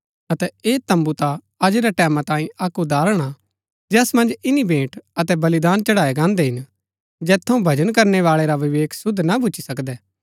अतै ऐह तम्बू ता अज रै टैमां तांई अक्क उदाहरण हा जैस मन्ज ईनी भेंट अतै बलिदान चढ़ाया गान्हदै हिन जैत थऊँ भजन करनै बाळै रा विवेक सिद्ध ना भूच्ची सकदै